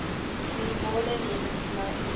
normale lewens lei